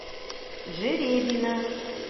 жеребина